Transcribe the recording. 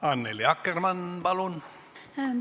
Annely Akkermann, palun!